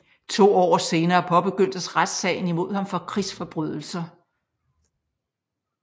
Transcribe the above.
To år senere påbegyndtes retssagen imod ham for krigsforbrydelser